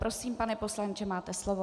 Prosím, pane poslanče, máte slovo.